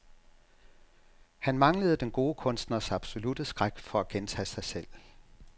Han manglede den gode kunstners absolutte skræk for at gentage sig selv.